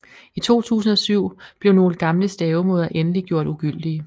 I 2007 blev nogle gamle stavemåder endelig gjort ugyldige